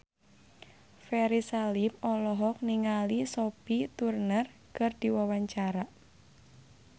Ferry Salim olohok ningali Sophie Turner keur diwawancara